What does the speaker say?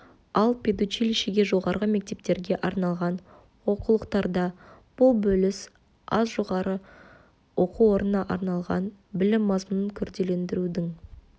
ал педучилищеге жоғарғы мектептерге арналған оқулықтарда бұл бөліс аз жоғары оқу орнына арналған білім мазмұнын күрделендірудің